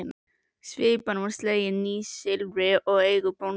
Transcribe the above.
Svipan var slegin nýsilfri og í eigu bóndans.